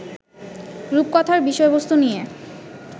রূপকথার বিষয়বস্তু নিয়ে